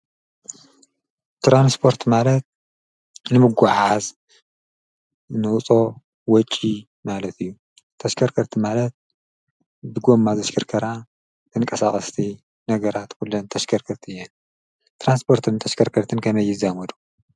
ተራንስጶርት ማለት ንምጐዓዝ ንውሶ ወጭ ማለት እዩ ተሽከርከርቲ ማለት ብጐማ ዘሽከርከራ ተንቀሳቐስቲ ነገራት ኲለን ተሽከርክርቲ እየን ጥራንስጶርትን ተሽከርክርትን ከመይዛመዱ።